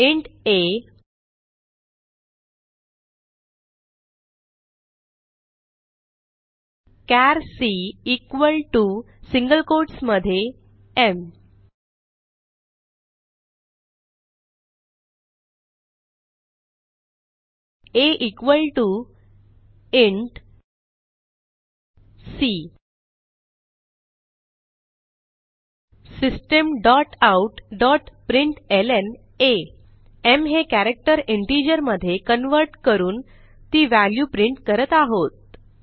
int a char c equal T O single quotes मध्ये m a equal T O c system dot out dot println m हे character integer मधे convert करून ती value print करत आहोत